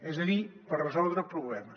és a dir per resoldre problemes